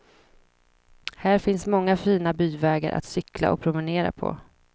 Här finns många fina byvägar att cykla och promenera på.